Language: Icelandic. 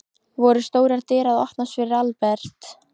Voru stórar dyr að opnast fyrir Albert?